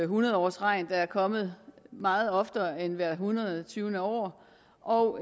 hundrede årsregn der er kommet meget oftere end hvert en hundrede og tyve år og